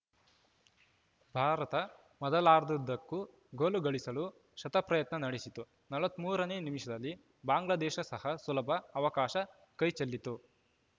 ಭಾರತ ಮೊದಲಾರ್ಧದುದ್ದಕ್ಕೂ ಗೋಲು ಗಳಿಸಲು ಶತಪ್ರಯತ್ನ ನಡೆಸಿತು ನಲವತ್ತ್ ಮೂರ ನೇ ನಿಮಿಷದಲ್ಲಿ ಬಾಂಗ್ಲಾದೇಶ ಸಹ ಸುಲಭ ಅವಕಾಶ ಕೈಚೆಲ್ಲಿತು